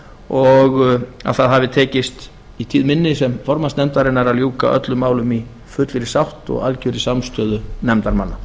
og að það hafi tekist í tíð minni sem formanns nefndarinnar að ljúka öllum málum í fullri sátt og algjörri samstöðu nefndarmanna